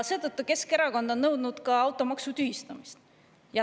Seetõttu on Keskerakond nõudnud ka automaksu tühistamist.